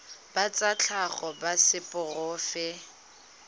ba tsa tlhago ba seporofe